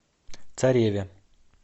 цареве